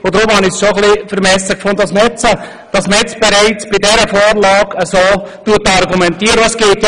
Deshalb fand ich es schon ein wenig vermessen, dass bei dieser Vorlage bereits jetzt so argumentiert wurde.